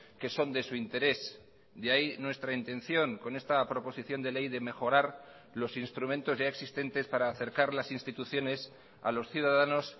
que son de su interés de ahí nuestra intención con esta proposición de ley de mejorar los instrumentos ya existentes para acercar las instituciones a los ciudadanos